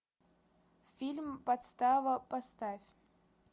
фильм подстава поставь